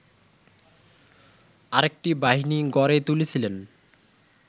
আরেকটি বাহিনী গড়ে তুলেছিলেন